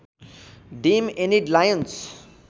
dam Enid Lions